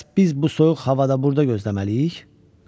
Bəs biz bu soyuq havada burda gözləməliyik?